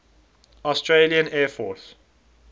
australian air force